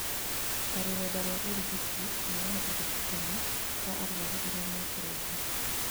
ta rũrenda rwa ũrigiti, kũheana ũrigitani kwa arwaru arĩa me kũraihu.